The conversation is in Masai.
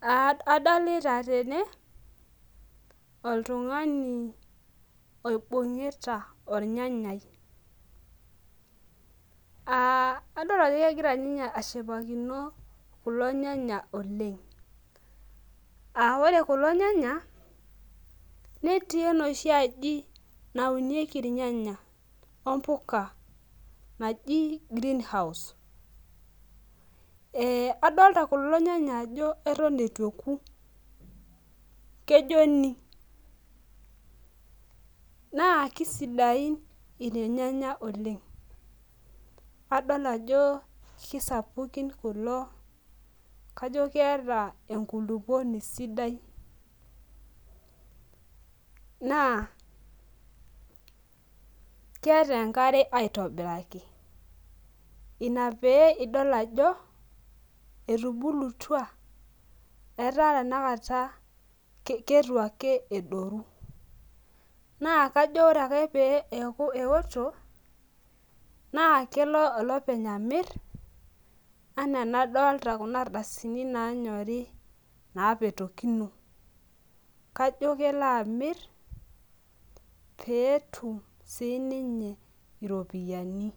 Adolta tene oltungani oibungita ornyanya adolta ajo kegira ninye ashipakino kulo nyanya oleng na ore kulo nyanya netii enooshi aji naunieki irnyanya ombuka naji greenhouse adolta kulo nyanya ajo atan ituoki kejoni na kisidain irnyanya oleng adol ajo kisapukin kulo ajobkeeta enkulukuoni sidai na keeta enkare aitobiraki inaboidol ajo etubulutua ata tanakata kitu ake edoru na ajo ore ake peaku eoto nakelo olopeny amir ana anadolta kuna ardasini nanyori napetokino kajo kelo amir petum sininye iropiyiani